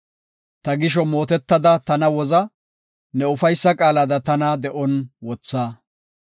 Ta gisho mootetada tana woza; ne ufaysa qaalada tana de7on wotha.